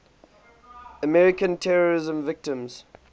american terrorism victims